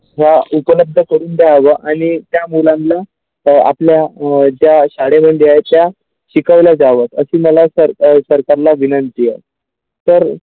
ह्या उपलब्ध करून द्यावा आणि त्या मुलांना तर आपल्या जा शाळेमधील आहे त्या शिकवले जावेत अशे मला सर अ सरकारला विनंती तर.